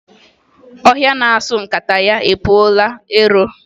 Ọhịa na-asọ nkataya epukwala ero.